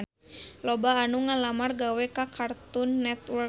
Loba anu ngalamar gawe ka Cartoon Network